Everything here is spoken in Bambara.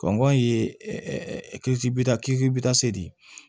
Kɔngɔ ye ɛ kisibita kitibita se de ye